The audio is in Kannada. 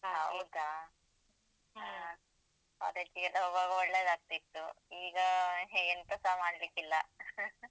ಅದಕ್ಕೆಲ್ಲ ಹೋಗುವಾಗ ಒಳ್ಳೇದಾಗ್ತಿತ್ತು ಈಗ ಹೆ ಎಂತಸ ಮಾಡ್ಲಿಕ್ಕಿಲ್ಲ.